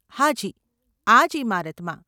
હાજી, આ જ ઈમારતમાં.